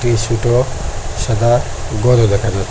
ই সুটো সাদা ঘরও দেখা যাচ্ছে।